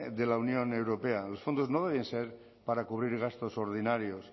de la unión europea los fondos no deben ser para cubrir gastos ordinarios